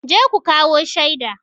Je ku kawo shaida!